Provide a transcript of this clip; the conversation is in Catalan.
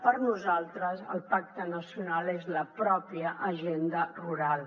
per nosaltres el pacte nacional és la pròpia agenda rural